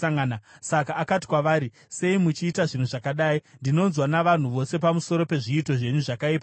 Saka akati kwavari, “Sei muchiita zvinhu zvakadai? Ndinonzwa navanhu vose pamusoro pezviito zvenyu zvakaipa izvi.